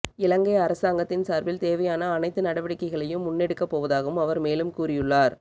இலங்கை அரசாங்கத்தின் சார்பில் தேவையான அனைத்து நடவடிக்கைகளையும் முன்னெடுக்கப் போவதாகவும் அவர் மேலும் கூறியுள்ளார்